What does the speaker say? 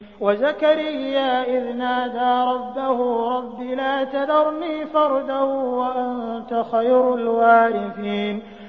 وَزَكَرِيَّا إِذْ نَادَىٰ رَبَّهُ رَبِّ لَا تَذَرْنِي فَرْدًا وَأَنتَ خَيْرُ الْوَارِثِينَ